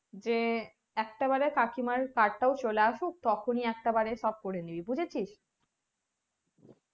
যে একটা বারে কাকিমার card টাও চলে আসুক তখনি একটা বাড়ে সব করে নিবি বুঝেছিস